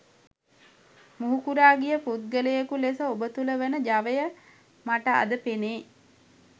මුහුකුරා ගිය පුද්ගලයකු ලෙස ඔබ තුළ වන ජවය මට අද පෙනේ.